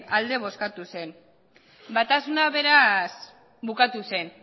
alde bozkatu zen batasuna beraz bukatu zen